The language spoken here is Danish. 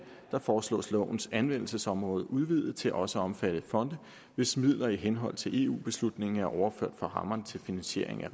foreslås lovens anvendelsesområde udvidet til også at omfatte fonde hvis midler i henhold til eu beslutningen er overført fra rammerne til finansiering af